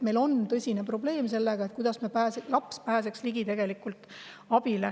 Meil on tõsine probleem sellega, kuidas laps abile ligi pääseb.